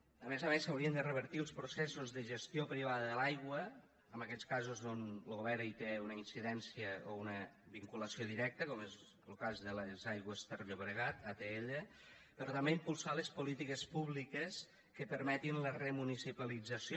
a més a més s’haurien de revertir els processos de gestió privada de l’aigua en aquells casos on lo govern té una incidència o una vinculació directa com és lo cas de les aigües ter llobregat atll però també impulsar les polítiques públiques que permetin la remunicipalització